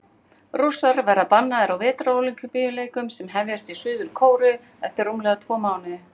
Rússar verða bannaðir á Vetrarólympíuleikunum sem hefjast í Suður-Kóreu eftir rúmlega tvo mánuði.